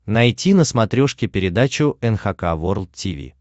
найти на смотрешке передачу эн эйч кей волд ти ви